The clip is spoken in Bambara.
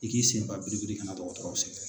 I k'i senfa biribiri kana na dɔgɔtɔrɔw sɛgɛrɛ.